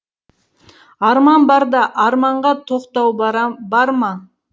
арман барда арманға тоқтау барам бар ма